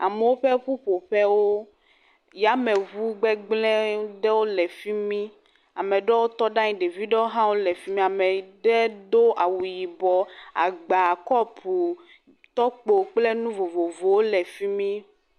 Amewo ƒe ƒuƒoƒewo. Yameŋu gbegble aɖewo le fi mi. Ame aɖewo tɔ ɖe anyi. Ɖevi aɖewo hã wole afi mi. Ame aɖe do awu yibɔ. Agba, kɔpu, tɔkpo kple nu vovovowo le fi mi.